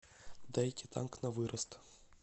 дайте танк на вырост